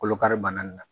Kolokari bana in na